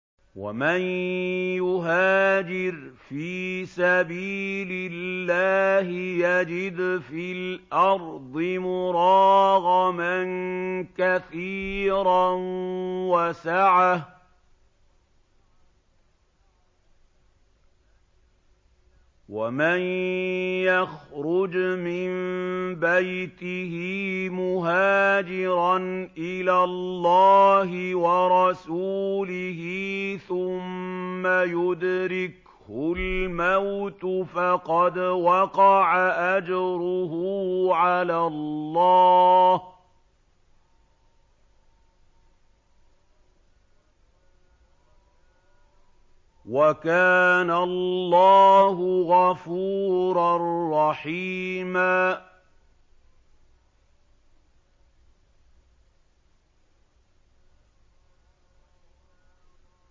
۞ وَمَن يُهَاجِرْ فِي سَبِيلِ اللَّهِ يَجِدْ فِي الْأَرْضِ مُرَاغَمًا كَثِيرًا وَسَعَةً ۚ وَمَن يَخْرُجْ مِن بَيْتِهِ مُهَاجِرًا إِلَى اللَّهِ وَرَسُولِهِ ثُمَّ يُدْرِكْهُ الْمَوْتُ فَقَدْ وَقَعَ أَجْرُهُ عَلَى اللَّهِ ۗ وَكَانَ اللَّهُ غَفُورًا رَّحِيمًا